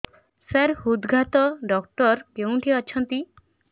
ସାର ହୃଦଘାତ ଡକ୍ଟର କେଉଁଠି ଅଛନ୍ତି